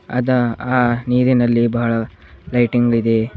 ಅದ ಆ ನೀರಿನಲ್ಲಿ ಬಾಳ ಲೈಟಿಂಗ್ ಇದೆ.